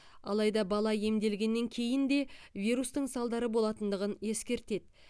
алайда бала емделгеннен кейін де вирустың салдары болатындығын ескертеді